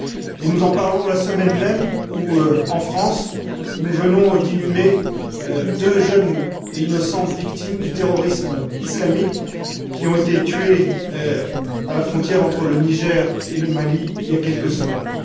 Et nous en parlons la semaine même où, en France, nous venons d'inhumer deux jeunes et innocentes victimes du terrorisme islamique, qui ont été tuées à la frontière entre le Niger et le Mali il y a quelques semaines.